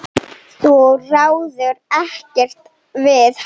Þú ræður ekkert við hann.